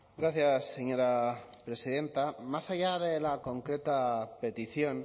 gracias señora presidenta más allá de la concreta petición